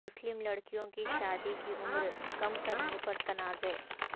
مسلم لڑکیوں کی شادی کی عمر کم کرنے پر تنازع